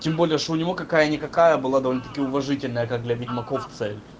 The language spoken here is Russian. тем более что у него какая никакая была довольно-таки уважительная как для ведьмаков цель